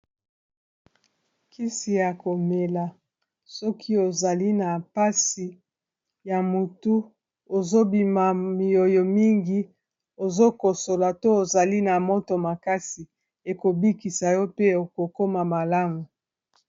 Kisi ya komela soki ozali na pasi ya mutu ozobima pe miyoyo mingi, ozokosola to ozali na moto makasi ekobikisa yo pe okokoma malamu.